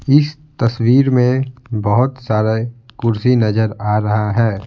इस तस्वीर में बहुत सारे कुर्सी नजर आ रहा है।